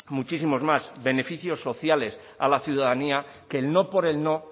muchísimos más beneficios sociales a la ciudadanía que el no por el no